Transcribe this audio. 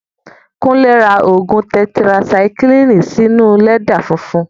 Kúnlé ra ògùn tẹtirasaikílìnì sí inú lẹ́dà funfun